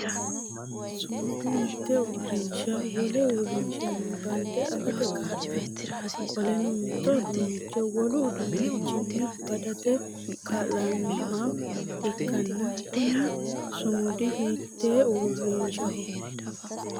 Sumudu mite uurinsha wole uurinshanni bande afate kaa'lano qoleno mito uduunnicho wolu uduunnichinni badate kaa'lanoha ikanna kunni sumudi hiitee uurinshaho?